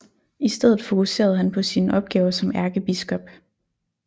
I stedet fokuserede han på sine opgaver som ærkebiskop